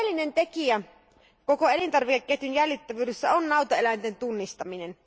Oleellinen tekijä koko elintarvikeketjun jäljitettävyydessä on nautaeläinten tunnistaminen.